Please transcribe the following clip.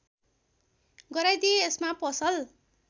गराइदिए यसमा पसल